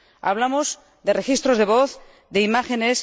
Hablamos de registros de voz, de imágenes.